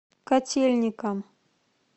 котельникам